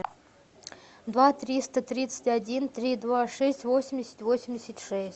два триста тридцать один три два шесть восемьдесят восемьдесят шесть